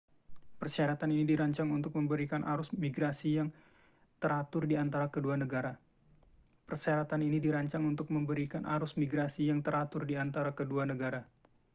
persyaratan ini dirancang untuk memberikan arus migrasi yang teratur di antara kedua negara